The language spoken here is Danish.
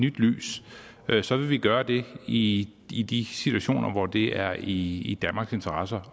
nyt lys så vil vi gøre det i i de situationer hvor det er i danmarks interesse